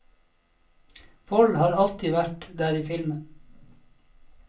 Vold har alltid vært der i filmen.